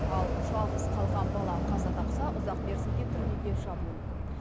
ал жалғыз қалған бала қаза тапса ұзақ мерзімге түрмеге жабылуы мүмкін